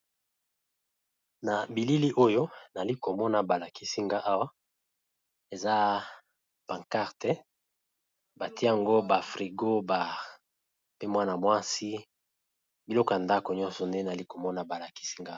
Nabilili oyo nazali komona balakisinga awa eza panquarte batiye ba frigo baloko ebele yandako